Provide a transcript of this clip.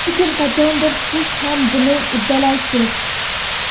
Lekin qachondir siz ham buni uddalaysiz.